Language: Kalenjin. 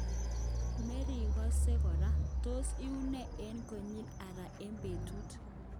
Merikose kora, tos iune eut konyil ata eng betut.